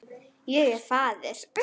Ég er faðir.